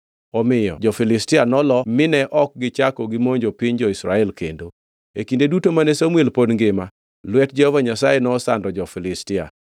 Omiyo jo-Filistia nolo mine ok gichako gimonjo piny jo-Israel kendo. E kinde duto mane Samuel pod ngima, lwet Jehova Nyasaye nosando jo-Filistia.